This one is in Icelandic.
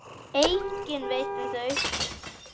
Enginn veit um þau.